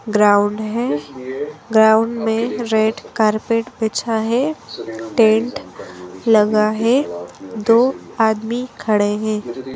Ground है ground मे red carpet बिछा है टेंट लगा है दो आदमी खडे हैं।